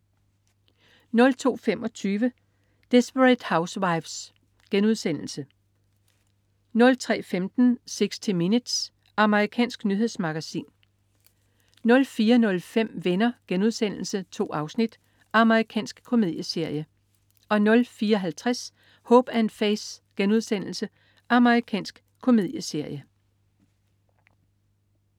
02.25 Desperate Housewives* 03.15 60 Minutes. Amerikansk nyhedsmagasin 04.05 Venner.* 2 afsnit. Amerikansk komedieserie 04.50 Hope & Faith.* Amerikansk komedieserie